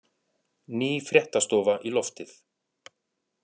Ný fréttastofa í loftið